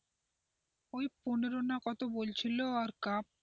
ওই পনেরো না কত বলছিল আর কাপ.